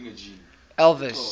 elvis